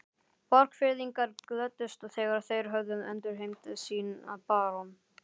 Borgfirðingar glöddust þegar þeir höfðu endurheimt sinn barón.